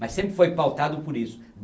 Mas sempre foi pautado por isso.